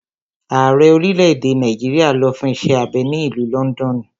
Ààrẹ orílẹ̀-èdè Nàìjíríà lọ fún iṣẹ́ abẹ ní ìlú lọ́ndọ̀nù.